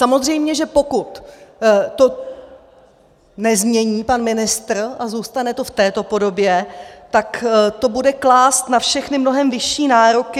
Samozřejmě že pokud to nezmění pan ministr a zůstane to v této podobě, tak to bude klást na všechny mnohem vyšší nároky.